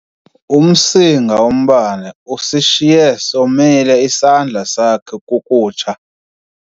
Umsinga wombane usishiye somile isandla sakhe kukutsha.